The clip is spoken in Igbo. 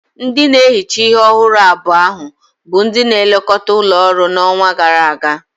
Ndị na-ehicha ihe ọhụrụ abua ahu bụ ndị na-elekọta ụlọ ọrụ n'ọnwa gara aga.